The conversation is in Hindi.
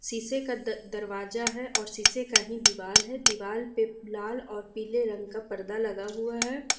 शीशे का द दरवाजा है और शीशे का ही दीवाल है दीवाल पे लाल और पीले रंग का पर्दा लगा हुआ है।